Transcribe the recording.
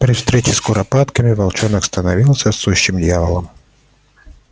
при встречах с куропатками волчонок становился сущим дьяволом